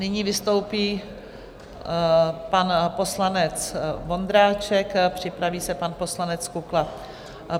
Nyní vystoupí pan poslanec Vondráček, připraví se pan poslanec Kukla.